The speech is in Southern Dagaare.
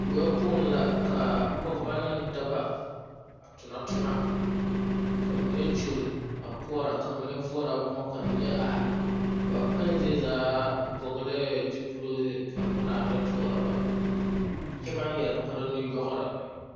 Weɛ poɔŋ la, kaa pɔgeba ne dɔba a tona toma ka mine kyolle a koɔra ka mine voɔrɔ boma, ka mine are, ba kpɛŋ zie zaa vɔglɛɛ zupille ka ŋmenaa ta toɔrɔ ba, kyɛ baŋ yɛre kpare nuyɔɔre.